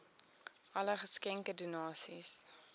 alle geskenke donasies